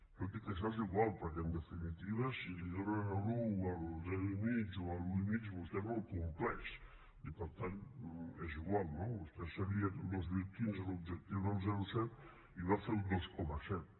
tot i que això és igual perquè en definitiva si li donen l’un o el zero i mig o l’un i mig vostè no el compleix i per tant és igual no vostè sabia que el dos mil quinze l’objectiu era el zero coma set i va fer el dos coma set